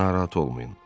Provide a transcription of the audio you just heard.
Narahat olmayın.